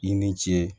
I ni ce